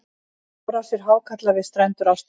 árásir hákarla við strendur ástralíu